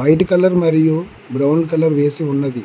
White colour మరియు brown colour వేసి ఉన్నది.